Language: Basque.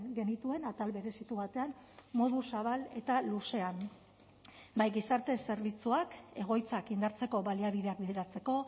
genituen atal berezitu batean modu zabal eta luzean bai gizarte zerbitzuak egoitzak indartzeko baliabideak bideratzeko